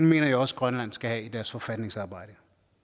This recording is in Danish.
mener jeg også grønland skal have i deres forfatningsarbejde